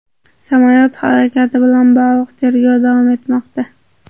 Samolyot halokati bilan bog‘liq tergov davom etmoqda.